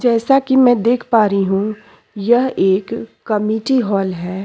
जैसा की मैं देख पा रही हूँ यह एक कमेटी हॉल है।